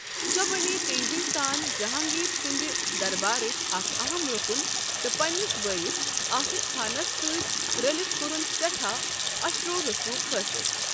سۄ بَنییہِ تیزی سان جَہانٛگیٖر سٕنٛدِ دربارٕچ اَکھ اہم رکن، تہٕ پنٛنس بٲیس آصف خانس سۭتۍ رٔلِتھ کوٚرُن سٮ۪ٹھا اثرو رسوخ حٲصِل۔